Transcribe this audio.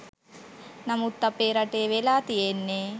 නමුත් අපේ රටේ වෙලා තියෙන්නේ